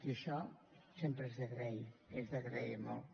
i això sempre és d’agrair és d’agrair molt